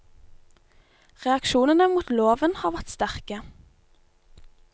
Reaksjonene mot loven har vært sterke.